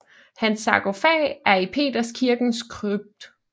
Hans sarkofag er i Peterskirkens krypt